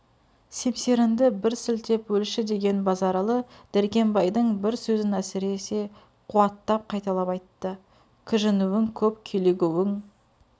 семсерінді бір сілтеп өлші деген базаралы дәркембайдың бір сөзін әсіресе қуаттап қайталап айтты кіжінуің көп килігуің